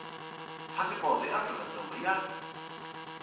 phasipoto ya afrika dzonga ya